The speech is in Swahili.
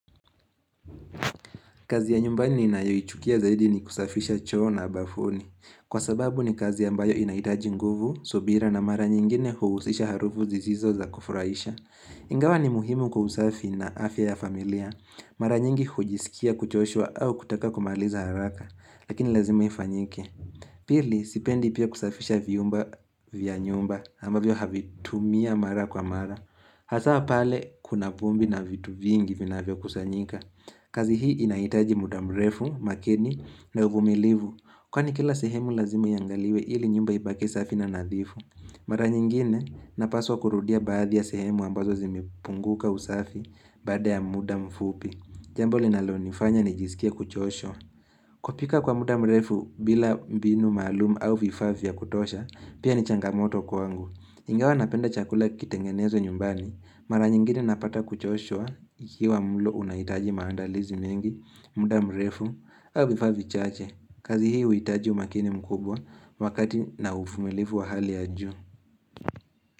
Kazi ya nyumbani ninayoichukia zaidi ni kusafisha choo na bafuni. Kwa sababu ni kazi ambayo inahitaji nguvu, subira na mara nyingine huhusisha harufu zizizo za kufurahisha. Ingawa ni muhimu kwa usafi na afya ya familia. Mara nyingi hujisikia kuchoshwa au kutaka kumaliza haraka. Lakini lazima ifanyike. Pili sipendi pia kusafisha vyumba vya nyumba ambavyo havitumia mara kwa mara. Hasa pale kuna vumbi na vitu vingi vinavyokusanyika. Kazi hii inhaitaji mda mrefu, makini na uvumilivu Kwani kila sehemu lazima iangaliwe ili nyumba ibak safi na nadhifu Mara nyingine napaswa kurudia baadhi ya sehemu ambazo zimepunguka usafi baada ya mda mfupi Jambo linalonifanya nijisikie kuchoshwa kupika kwa mda mrefu bila mbinu maalum au vifaa vya kutosha pia ni changamoto kwangu Ingawa napenda chakula kitengenezwe nyumbani, mara nyingine napata kuchoshwa ikiwa mlo unahitaji maandalizi mengi, mda mrefu, au vifaa vichache, kazi hii huitaji umakini mkubwa wakati na ufumilifu wa hali ya juu.